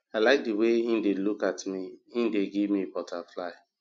i like the way he dey look at me he dey give me butterfly